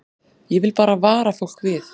Ég vil bara vara fólk við.